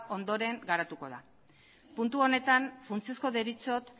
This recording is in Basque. ondoren arautuko da puntu honetan funtsezko deritzot